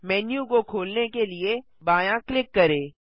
menu को खोलने के लिए बायाँ क्लिक करें